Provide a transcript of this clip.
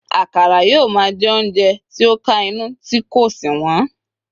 akara yíò ma je ounjẹ ti o kà inú ti ko sí wón